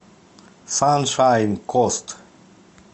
саншайн кост